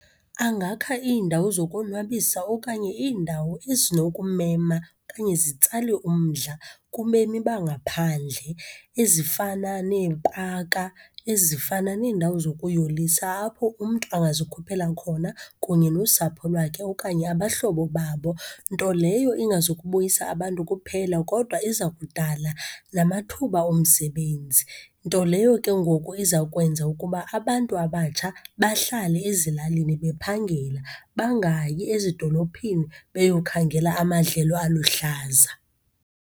Angakha iindawo zokonwabisa, okanye iindawo ezinokumema okanye zitsale umdla kubemi bangaphandle, ezifana neepaka, ezifana neendawo zokuyolisa, apho umntu angazikhuphela khona kunye nosapho lwakhe okanye abahlobo babo. Nto leyo ingazukubuyisa abantu kuphela, kodwa iza kudala namathuba omsebenzi, nto leyo ke ngoku iza kwenza ukuba abantu abatsha bahlale ezilalini bephangela, bangayi ezidolophini beyokhangela amadlelo aluhlaza.